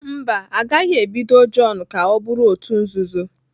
Mba, a gaghị ebido John ka ọ bụrụ òtù nzuzo.